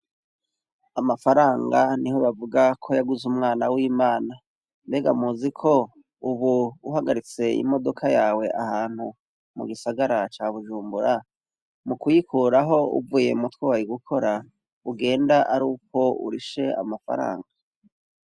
Amafaranga niho bavuga ko yaguze umwana wimana mbega muziko uhagaritse imodoka yawe ahantu mugisagara ca Bujumbura mukuyikuraho uvuye mutwo wari gukora ugenda ari uko urishe amafaranga.